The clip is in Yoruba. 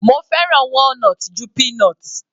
Mo fẹ́ràn walnut ju peanut.